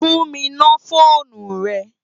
Fún mi no fónú rè